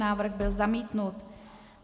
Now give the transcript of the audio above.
Návrh byl zamítnut.